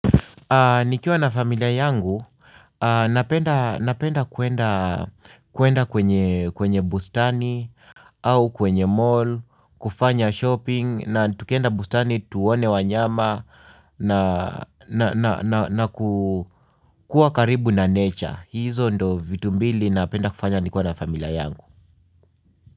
Nikiwa na familia yangu, napenda kuenda kwenye bustani au kwenye mall, kufanya shopping na tukienda bustani tuone wanyama na kukua karibu na nature. Hizo ndo vitumbili napenda kufanya nikuwa na familia yangu.